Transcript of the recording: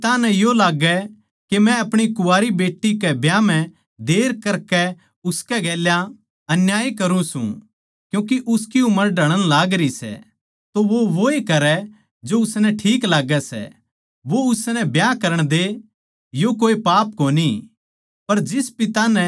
जै किसे पिता नै यो लाग्गै के मै अपणी कुँवारी बेट्टी के ब्याह म्ह देर करकै उसकै गैल अन्याय करुँ सूं क्यूँके उसकी उम्र ढळण लागरी सै वो वोए करै जो उसनै ठीक लाग्गै सै वो उसनै ब्याह करण दे यो कोए पाप कोनी